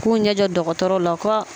K'u ɲɛjɔ dɔgɔtɔrɔw la ko